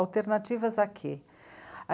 Alternativas a quê?